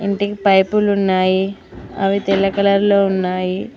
Cutting పైపులు ఉన్నాయి అవి తెల్ల కలర్ లో ఉన్నాయి.